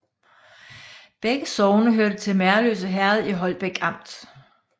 Begge sogne hørte til Merløse Herred i Holbæk Amt